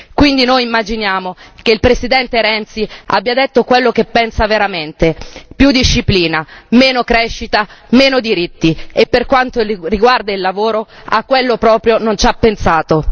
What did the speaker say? Quindi noi immaginiamo che il Presidente Renzi abbia detto quello che pensa veramente più disciplina, meno crescita, meno diritti e per quanto riguarda il lavoro a quello proprio non ci ha pensato.